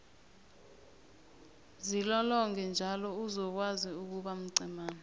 zilolonge njalo uzokwazi ukuba mcemana